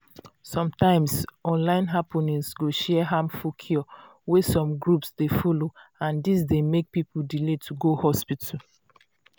sometimes online happening go share harmful cure wey some groups dey follow and dis d make people delay to go hospital.